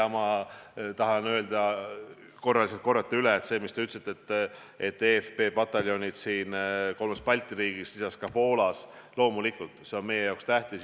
Ma tahan lihtsalt üle korrata seda, mis te ütlesite: see, et eFP pataljonid kolmes Balti riigis ja lisaks Poolas kohal on, on loomulikult meie jaoks tähtis.